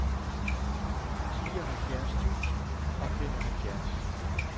fireoghalvfjerds tusind og femoghalvfjerds